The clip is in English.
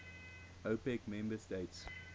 opec member states